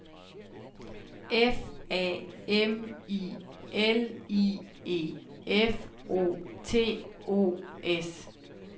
F A M I L I E F O T O S